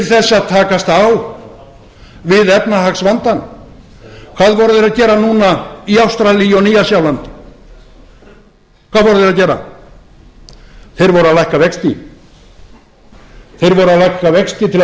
að takast á við efnahagsvandann hvað voru þeir að gera núna í ástralíu og nýja sjálandi þeir voru að lækka vexti þeir voru að lækka vexti til að